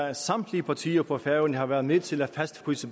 at samtlige partier på færøerne har været med til at fastfryse